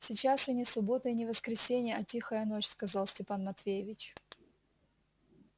сейчас и не суббота и не воскресенье а тихая ночь сказал степан матвеевич